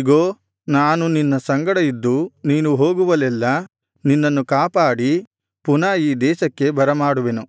ಇಗೋ ನಾನು ನಿನ್ನ ಸಂಗಡ ಇದ್ದು ನೀನು ಹೋಗುವಲ್ಲೆಲ್ಲಾ ನಿನ್ನನ್ನು ಕಾಪಾಡಿ ಪುನಃ ಈ ದೇಶಕ್ಕೆ ಬರಮಾಡುವೆನು